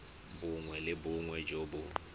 bongwe le bongwe jo bo